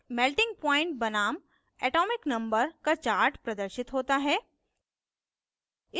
melting point बनाम atomic number z का chart प्रदर्शित होता है